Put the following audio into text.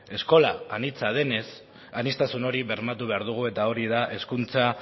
eskola anitza denez aniztasun hori bermatu behar dugu eta hori da hezkuntza